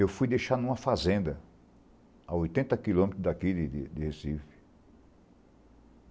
Eu fui deixar em uma fazenda a oitenta quilômetros daqui de de de Recife.